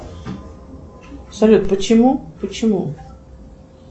салют почему почему